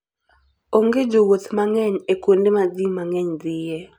Onge jowuoth mang'eny e kuonde ma ji mang'eny dhiye.